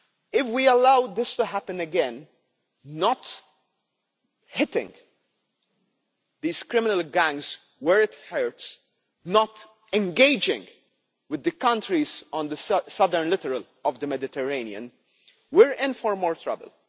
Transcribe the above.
If we allow this to happen again not hitting these criminal gangs where it hurts, not engaging with the countries on the southern littoral of the Mediterranean we are in for more trouble.